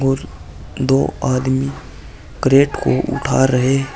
दो आदमी करेट को उठा रहे है।